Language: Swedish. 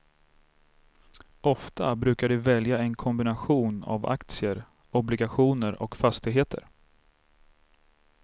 Ofta brukar de välja en kombination av aktier, obligationer och fastigheter.